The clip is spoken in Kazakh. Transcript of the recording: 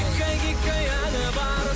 гиккәй гиккәй әні бар